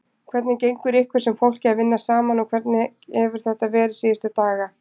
Hvernig gengur ykkur sem fólki að vinna saman og hvernig hefur þetta verið síðustu daga?